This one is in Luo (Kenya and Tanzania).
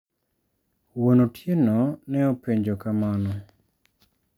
Wuon otieno ne openjo kamano.